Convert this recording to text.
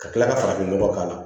Ka tila ka farafin nɔgɔ k'a la